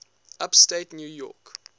upstate new york